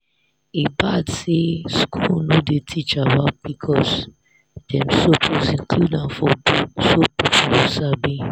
e bad say school no dey teach about pcos dem suppose include am for book so people go sabi.